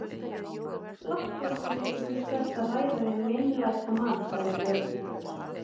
Láttu ekki eins og þú sért að ræða við meinlætamann, sagði Björn illur.